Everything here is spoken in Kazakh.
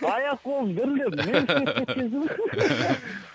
аяқ қолым дірілдеп